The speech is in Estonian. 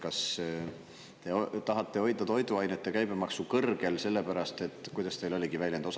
Kas te tahate hoida toiduainete käibemaksu kõrgel selle pärast, et – kuidas teil see väljend oligi?